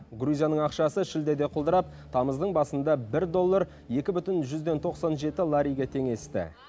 грузияның ақшасы шілдеде құлдырап тамыздың басында бір доллар екі бүтін жүзден тоқсан жеті лариге теңесті